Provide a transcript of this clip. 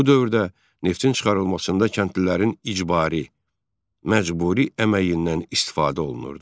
Bu dövrdə neftin çıxarılmasında kəndlilərin icbari məcburi əməyindən istifadə olunurdu.